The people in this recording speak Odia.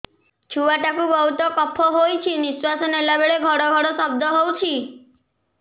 ଛୁଆ ଟା କୁ ବହୁତ କଫ ହୋଇଛି ନିଶ୍ୱାସ ନେଲା ବେଳେ ଘଡ ଘଡ ଶବ୍ଦ ହଉଛି